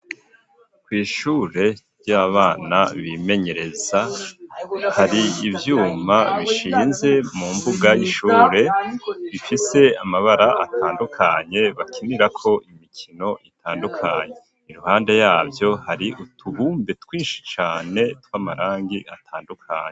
Kw'ishure ry'abana bimenyereza hari ivyuma bishinze mu mbuga y'ishure bifise amabara atandukanye bakinirako imikino itandukanye iruhande yavyo hari utubumbe twishi cane tw'amarangi atandukanye.